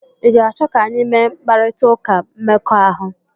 Ị ga-achọ ka anyị mee mkparịta ụka mmekọahụ?